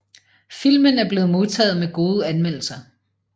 Filmen er blevet modtaget med gode anmeldelser